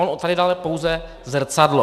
On tady dal pouze zrcadlo.